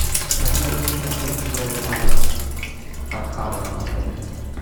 я хотел бы узнать сколько стоит сеанс катка в этом отеле